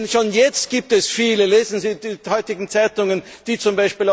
Denn schon jetzt gibt es viele lesen Sie die heutigen Zeitungen die z.